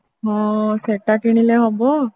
ହଁ ସେଟା କିଣିଲେ ହବ